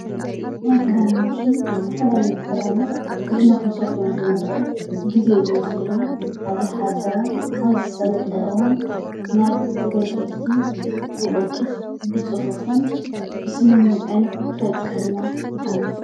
ናይ ክዳን ማሽን ዝተፈላለዩ ኽዳናት ብኢድና ክንሰፍዮ ንዘይንኽእል ግዜ ዝወስደልና ኣብ ዘሓፀረ ኣብ ዝሰለጠ እዋን ናብ ተገልገልቲ ብቅልጡፍ ብፅፉፍን ብስምምዕን ከብፀሐልና ይኽእል።